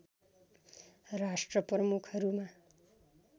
राष्ट्र प्रमुखहरूमा